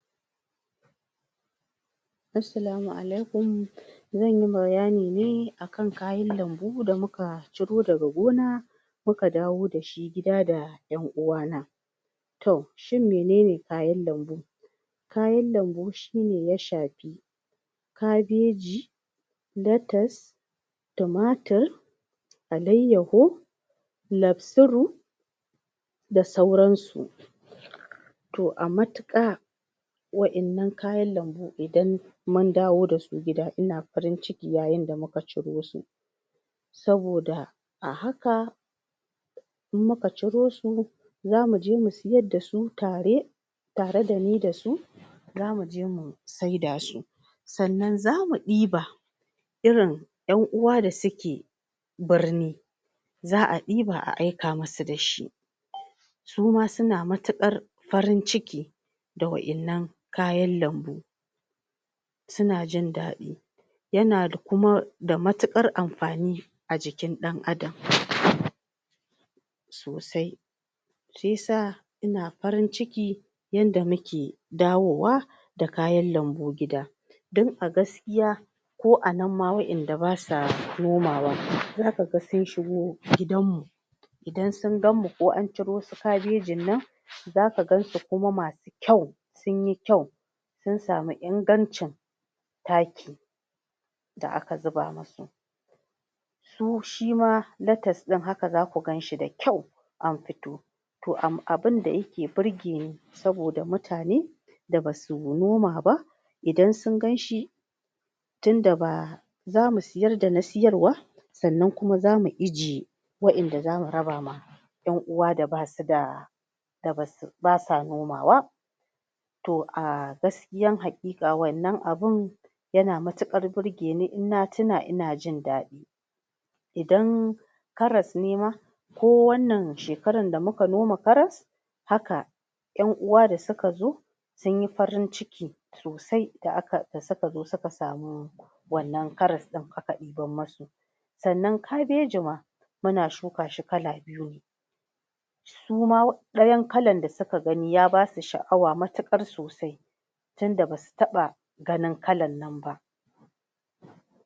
Assalamu Alaikum zanyi bayani ne akan kayan lambu da muka ciro daga gona muka dawo dashi gida da 'yan uwa na to, shine menene kayan lambo kayan lambo shine ya shafi Kabeji Lettuce tumatur Alayyahu Lafsir da sauransu to a matuƙa wa'yan nan kayan lamo idan mun dawo dasu, gida ina farin ciki yayin da muka ciro su saboda a haka in muka ciro su zamuje mu siyar dasu tare tare dani dasu zamuje mu sai da su sannan zamu ɗiba irin 'yan uwa da suke birni za'a ɗiba a aika musu dashi suma suna matuƙar farin ciki da wa'yan nan kayan lambo suna jin daɗi yana da kuma da mutuƙar amfani a jikin ɗan Adam sosai shiyasa ina farin ciki yadda muke dawowa da kayan lambo gida dan a gaskiya ko anan ma wa'yan da basa nomawa za kaga sun shigo gidanmu idan sun gamu kuwa an ciro su Kabejin nan za kagan su kuma masu kyau sunyi kyau sun sami ingancin taki da aka zuba musu du shima lettece din haka zaku ganshi da kyau an fito to am um abunda yake burgeni saboda mutane da basu noma ba idan sun ganshi tunda ba zamu siyar da na siyarwa sannan kuma zamu ijjiye wa'yan da zamu raba ma 'yan uwa da basu da da basu, basa noma wa to a gaskiyan haƙiƙa wannan abun yana matuƙar burgeni, in na tuna ina jin daɗi idan Karas ne ma ko wannan shekarar da muka noma Karas haka 'yan uwa da suka zo sunyi farin ciki sosai da aka, da suka zo suka samu wannan Karas ɗin aka ɗibar musu sannan Kabeji ma Muna shuka shi kala biyu suma ɗayar kalar da suka gani, ya basu sha'awa matuƙar sosai tunda basu taɓa ganin kalar nan ba